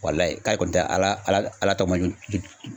k'ale kɔni tɛ Ala Ala tɔma